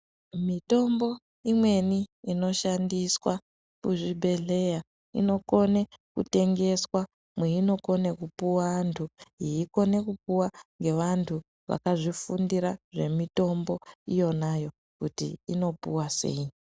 Mitombo imweni inoshandiswa muzvibhedhleya inokone kutengeswa meyinokone kupiwa vantu yeyikone kupuwa ngevantu vakazvifundira zvemitombo iyoyo kuti inopuwa sei.